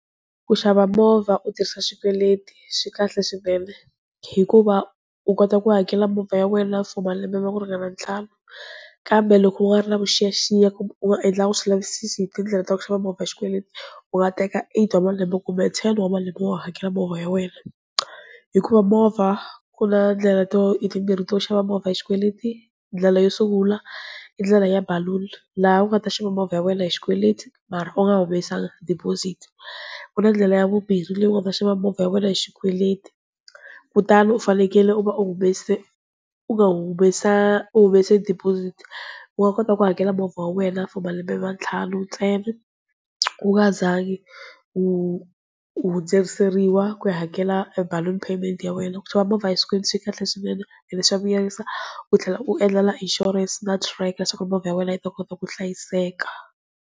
Ku xava movha u tirhisa swikweleti swi kahle swinene, hikuva u kota ku hakela movha ya wena for malembe ma ku ringana ntlhanu kambe loko u nga ri na vuxiyaxiya u nga endlangi swivulavisisi hi tindlela ta ku xava movha hi xikweleti u nga teka eight wa malembe kumbe ten wa malembe wa ha hakela movha ya wena, hikuva movha ku na ndlela to i timbirhi to xava movha hi xikweleti, ndlela yo sungula i ndlela ya baluni laha u nga ta xava movha ya wena hi xikweleti mara u nga humesanga deposit, ku na ndlela ya vumbirhi leyi u nga ta xava movha ya wena hi xikweleti kutani u fanekele u va u humese u nga humesa u humesa deposit u nga kota ku hakela movha wa wena for malembe ma ntlhanu ntsena, u nga zangi u u hundzuseriwa ku ya hakela baluni payment ya wena. Ku xava movha hi swikweleti swi kahle swinene and swa vuyerisa u tlhela u endlela na insurance na tracker leswaku movha ya wena yi ta kota ku hlayiseka.